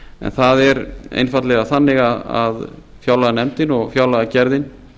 en það er einfaldlega þannig að fjárlaganefndin og fjárlagagerðin